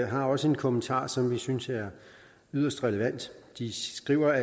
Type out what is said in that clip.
har også en kommentar som vi synes er yderst relevant de skriver